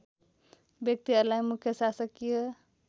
व्यक्तिहरूलाई मुख्य शासकीय